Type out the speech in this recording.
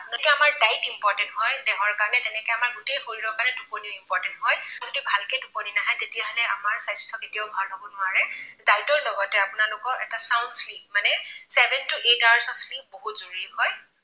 যিদৰে আমাৰ diet হয় দেহৰ কাৰণে, তেনেকৈ আমাৰ গোটেই শৰীৰৰ কাৰণে টোপনিও important হয়, যদি ভালকৈ টোপনি নাহে, তেতিয়াহলে আমাৰ স্বাস্থ্য কেতিয়াও ভাল হব নোৱাৰে। diet ৰ লগতে আপোনালোকৰ এটা sound sleep মানে seven to eight hours ৰ sleep বহুত জৰুৰী হয়।